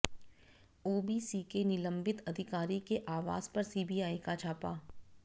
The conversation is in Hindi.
ओबीसी के निलंबित अधिकारी के आवास पर सीबीआई का छापा